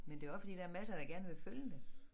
Men det også fordi der er masser der gerne vil følge dem